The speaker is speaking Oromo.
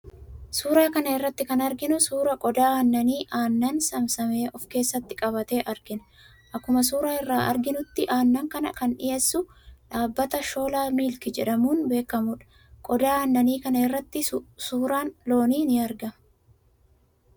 Suuraa kana irratti kan arginu suuraa qodaa aannanii aannan saamsame of keessatti qabate argina. Akkuma suuraa irraa arginutti, aannan kana kan dhiyeessu dhaabbata 'Shola Milk' jedhamuun beekamudha. Qodaa aannanii kana irrattis suuraan loonii in argama.